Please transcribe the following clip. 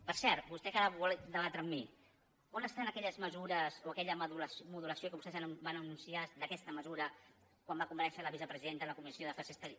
per cert vostè que ara vol debatre amb mi on estan aquelles mesures o aquella modulació que vostès van anunciar d’aquesta mesura quan va comparèixer la vicepresidenta en la comissió d’afers exteriors